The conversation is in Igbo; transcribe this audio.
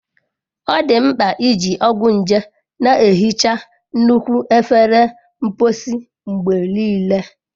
Ọ dị mkpa iji ọgwụ nje na-ehicha nnukwu efere mposi mgbe niile.